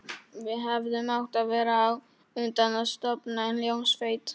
Við hefðum átt að verða á undan að stofna hljómsveit.